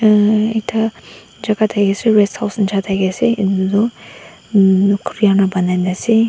emmm ekta jaka taki asae resthouse nishina taki asae etu toh emmm etu kori khan para bonai na asae.